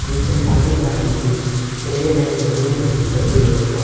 नीचे पानी का रंग भीग्रे और महरून में तब्दील हो चुका है।